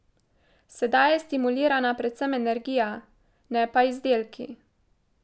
Sedaj je stimulirana predvsem energija, ne pa izdelki.